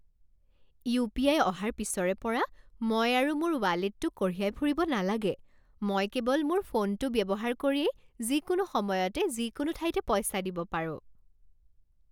UPI. অহাৰ পিছৰে পৰা মই আৰু মোৰ ৱালেটটো কঢ়িয়াই ফুৰিব নালাগে। মই কেৱল মোৰ ফোনটো ব্যৱহাৰ কৰিয়েই যিকোনো সময়তে যিকোনো ঠাইতে পইচা দিব পাৰোঁ।